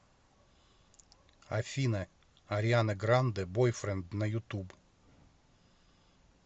афина ариана гранде бойфренд на ютуб